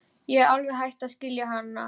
Ég er alveg hætt að skilja hann Lúlla.